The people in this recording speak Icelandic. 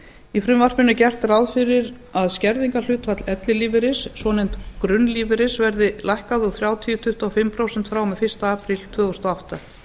í frumvarpinu er gert ráð fyrir að skerðingarhlutfall ellilífeyris svonefnds grunnlífeyris verði lækkað úr þrjátíu í tuttugu og fimm prósent frá og með fyrsta apríl tvö þúsund og átta